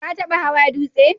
Ka taba hawan dutse